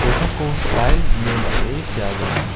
kosako stail ine dal·e sea gnang.